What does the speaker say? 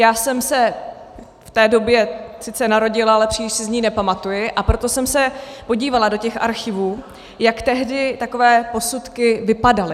Já jsem se v té době sice narodila, ale příliš si z ní nepamatuji, a proto jsem se podívala do těch archivů, jak tehdy takové posudky vypadaly.